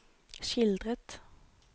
skildret